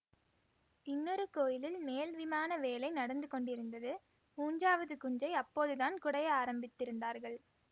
இன்னொரு கோயிலில் மேல் விமான வேலை நடந்து கொண்டிருந்தது மூன்றாவது குன்றை அப்போதுதான் குடைய ஆரம்பித்திருந்தார்கள்